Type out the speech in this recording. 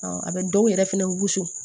a bɛ dɔw yɛrɛ fɛnɛ wusu